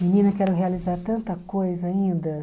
Menina, quero realizar tanta coisa ainda.